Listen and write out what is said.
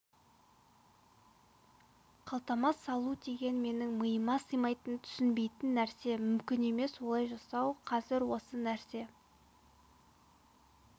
қалтама салу деген менің миыма сыймайтын түсінбейтін нәрсе мүмкін емес олай жасау қазір осы нәрсе